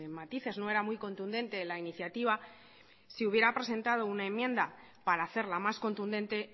matices no era muy contundente la iniciativa si hubiera presentado una enmienda para hacerla más contundente